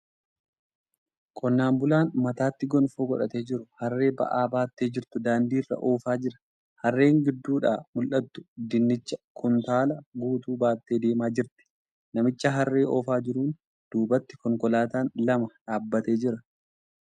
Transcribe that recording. Qonnaan bulaan mataatti gonfoo godhatee jiru harree ba'aa baattee jirtu daandii irra oofaa jira. Harreen gidduudhaa mul'attu dinnicha kuntaala guutuu baattee deemaa jirti. Namticha harree oofaa jiruun duubatti konkolaataan lama dhaabbatee jira.